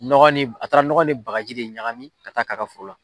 Nɔgɔ nin, a taara nɔgɔ ni baji de ɲagami ka taa' k'ɛ a ka foro la.